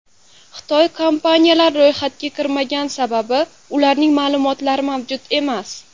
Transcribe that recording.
Xitoy kompaniyalar ro‘yxatga kirmagan, sababi ularning ma’lumotlari mavjud emas.